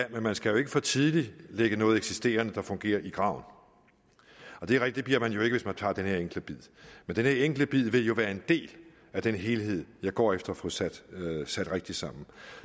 man skal jo ikke for tidligt lægge noget eksisterende der fungerer i graven det er rigtigt at man jo ikke hvis man tager den her enkle bid men den her enkle bid vil jo være en del af den helhed jeg går efter at få sat sat rigtigt sammen